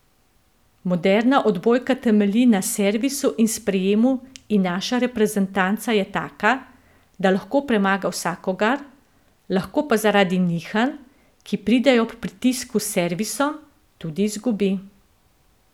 Moderna odbojka temelji na servisu in sprejemu in naša reprezentanca je taka, da lahko premaga vsakogar, lahko pa zaradi nihanj, ki pridejo ob pritisku s servisom, tudi izgubi.